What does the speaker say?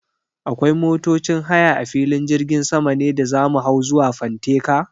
Akwai motocin haya a filin jirgin sama ne da za mu hau zuwa fanteka?